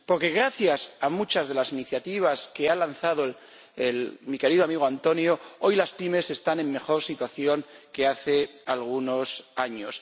Porque, gracias a muchas de las iniciativas que ha lanzado mi querido amigo Antonio, hoy las pymes están en mejor situación que hace algunos años.